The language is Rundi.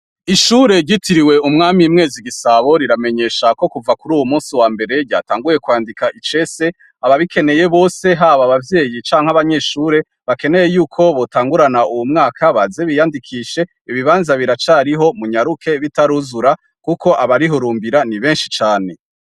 Ishure ryitiriwe umwami Mwezi Gisabo riramenyesha ko kuva kuruwo munsi wambere ryatanguye kwandika icese ababikeneye bose haba abavyeyi canke abanyeshure bakeneye yuko botangurana uwo mwaka baze biyandikishe ibibanza biracariho munyaruke bitaruzura kuko abarihurumbira ni benshi cane.